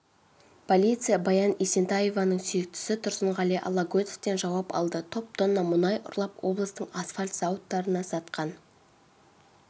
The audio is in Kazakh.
полиция баян есентаеваның сүйіктісі тұрсынғали алагөзовтен жауап алды топ тонна мұнай ұрлап облыстың асфальт зауыттарына сатқан